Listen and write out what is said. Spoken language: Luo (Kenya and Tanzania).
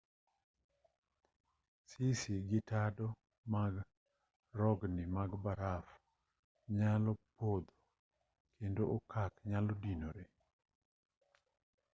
sisi gi tado mag rogni mag baraf nyalo podho kendo okak nyalo dinore